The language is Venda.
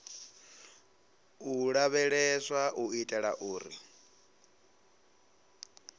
u lavheleswa u itela uri